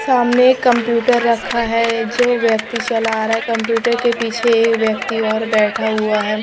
सामने एक कंप्यूटर रखा है जो व्यक्ति चला आ रहा है कंप्यूटर के पीछे एक व्यक्ति और बैठा हुआ है।